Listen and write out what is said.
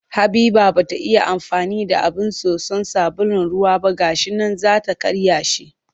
Habiba ba ita ya amfani da abin tatso sabulun ruwa ba ga shi nan za ta karya shi